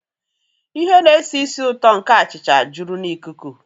Ihe na-esi ísì ụtọ nke achịcha juru n'ikuku.